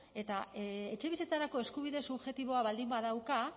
eta etxebizitzarako eskubide subjektiboa baldin badauka